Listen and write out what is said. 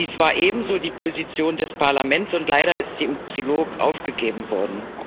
Dies war ebenso die Position des Parlaments, und leider ist sie im Trilog aufgegeben worden.